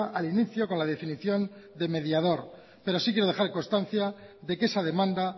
al inicio con la definición de mediador pero sí quiero dejar constancia de que esa demanda